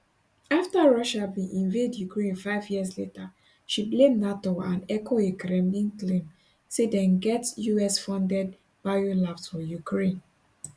afta russia bin invade ukraine five years later she blame nato and echoe a kremlin claim say dem get usfunded biolabs for ukraine